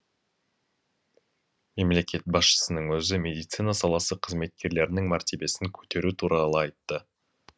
мемлекет басшысының өзі медицина саласы қызметкерлерінің мәртебесін көтеру туралы айтты